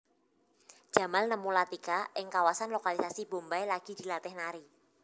Jamal nemu Latika ing kawasan lokalisasi Bombay lagi dilatih nari